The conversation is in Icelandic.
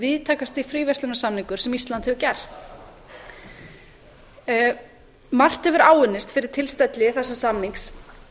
víðtækasti fríverslunarsamningur sem ísland hefur gert margt hefur áunnist fyrir tilstilli þessa samnings